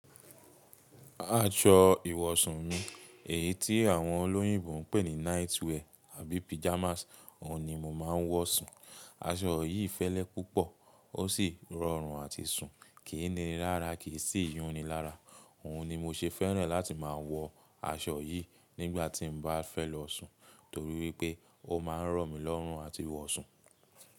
Aṣọ ìwọ̀sun mi, èyí tí àwọn olóyìnbo ń pè ní night wear àbí pajamas, òun ni mo máa ń wọ̀ sùn. Aṣọ yìí fẹ́lẹ́ púpọ̀, ó sì rọrùn àti sùn, kìí ni nilará, kì sì yúnni lára. Òun ni mo ṣe fẹ́ràn láti máa wọ aṣọ yìí nígbà tí n bá fẹ́ lọ sùn torí wípé ó máa ń rọ̀ mí lọ́rùn àti wọ̀ sùn.